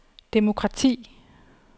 demokrati